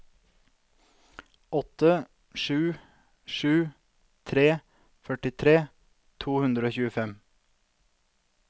åtte sju sju tre førtitre to hundre og tjuefem